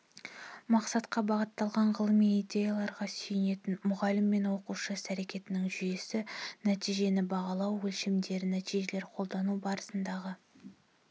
мақсатқа бағытталған ғылыми идеяларға сүйенетін мұғалім мен оқушы іс-әрекетінің жүйесі нәтижені бағалау өлшемдері нәтижелер қолдану барысындағы